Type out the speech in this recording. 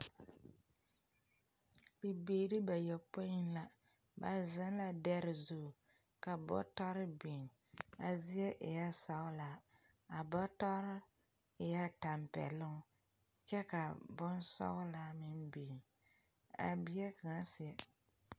Bibiiri bayopoi la, ba zeŋ lɛ dɛre zuŋ ka bɔtare biŋ, a zie e la sɔglaa, a bɔtare eɛ tampɛloŋ kyɛ ka boŋ sɔglaa meŋ biŋ, a bie kaŋa seɛ. 13373